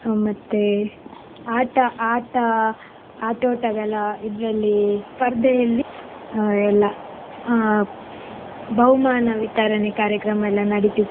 ಹ್ಮ್ ಮತ್ತೆ ಆಟ ಆಟ ಆಟೋಟಗಳ ಇದ್ರಲ್ಲಿ ಸ್ಪರ್ಧೆಯಲ್ಲಿ ಅಹ್ ಎಲ್ಲ ಅಹ್ ಬಹುಮಾನ ವಿತರಣೆ ಕಾರ್ಯಕ್ರಮ ಎಲ್ಲ ನಡಿತಿತ್ತು.